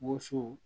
Woso